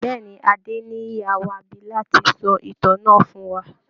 Bẹ́ẹ̀ ni, Adéníyì á wá bí láti sọ ìtàn náà fún wa